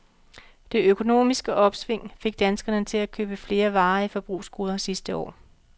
Det økonomiske opsving fik danskerne til at købe flere varige forbrugsgoder sidste år.